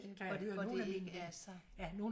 Og og det ikke er så